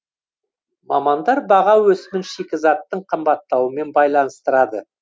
мамандар баға өсімін шикізаттың қымбаттауымен байланыстырады